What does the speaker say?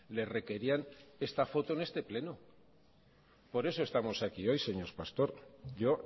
le requerían esta foto en este pleno por eso estamos aquí hoy señor pastor yo